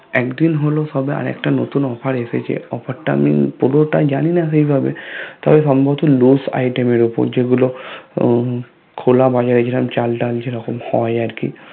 একদিন হলো সবে নতুন আরেকটা Offer এসেছে Offer টা আমি পুরোটা জানিনা ঠিকভাবে তবে সম্ভবত Luj Item এর উপর যেগুলো খোলা বাজারে যেরকম চাল ডাল যেরকম হয় আরকি